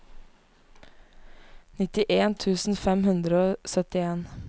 nittien tusen fem hundre og syttien